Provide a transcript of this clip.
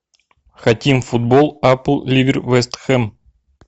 хотим футбол апл ливер вест хэм